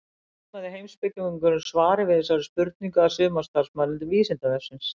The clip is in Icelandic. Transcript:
Þá laumaði heimspekingurinn svari við þessari spurningu að sumarstarfsmanni Vísindavefsins.